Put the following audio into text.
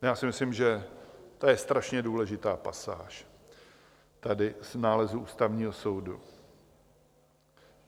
Já si myslím, že to je strašně důležitá pasáž tady z nálezu Ústavního soudu.